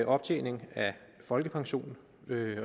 optjening af folkepension